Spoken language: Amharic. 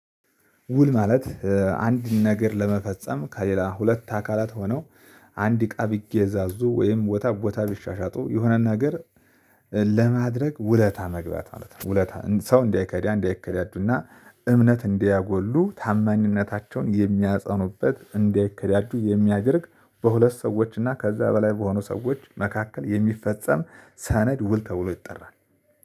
ውል ማለት አንድ ነገር ለመፈጸም ከሌላ ሁለት አካላት ሆነው አንድ እቃ ቢገዛዙ ወይም ቦታ ቦታ ቢሻሻጡ የሆነን ሀገር ለማድረግ ውለታ መግባት ማለት ነው። ውለታ ሰው እንዳይከዳ እንዳይከዳዱና እምነት እንዳያጎሉ ታማኝነታቸውን የሚያጸኑበት እንዳይከዳዱ የሚያደርግ በሁለት ሰዎች እና ከዛ በላይ በሆኑ ሰዎች መካከል የሚፈጸም ሰነድ ውል ተብሎ ይጠራል፤